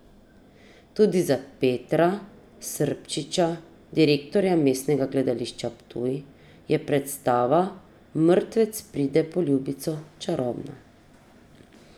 Tudi za Petra Srpčiča, direktorja Mestnega gledališča Ptuj, je predstava Mrtvec pride po ljubico čarobna.